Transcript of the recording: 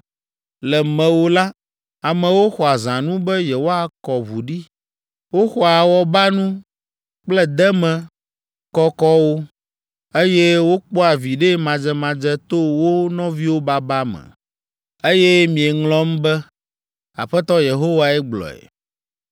Le mewò la, amewo xɔa zãnu be yewoakɔ ʋu ɖi. Woxɔa awɔbanu kple deme kɔkɔwo, eye wokpɔa viɖe madzemadze to wo nɔviwo baba me. Eye mieŋlɔm be. Aƒetɔ Yehowae gblɔe.